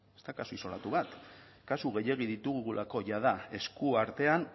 ez da kasu isolatu bat kasu gehiegi ditugulako jada esku artean